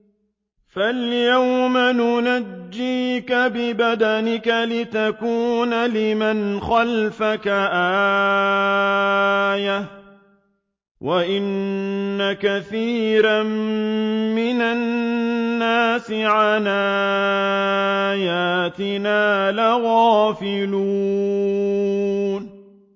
فَالْيَوْمَ نُنَجِّيكَ بِبَدَنِكَ لِتَكُونَ لِمَنْ خَلْفَكَ آيَةً ۚ وَإِنَّ كَثِيرًا مِّنَ النَّاسِ عَنْ آيَاتِنَا لَغَافِلُونَ